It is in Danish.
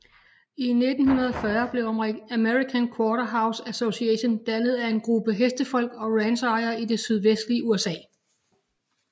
I 1940 blev American Quarter Horse Association dannet af en gruppe hestefolk og ranchejere i det sydvestlige USA